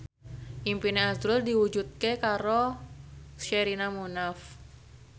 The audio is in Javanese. impine azrul diwujudke karo Sherina Munaf